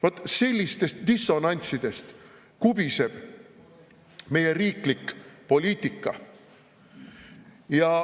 Vot sellistest dissonantsidest kubiseb meie riiklik poliitika.